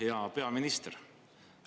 Hea peaminister!